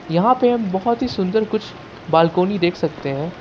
यहां पे हम बहुत ही सुंदर कुछ बालकोनी देख सकते हैं।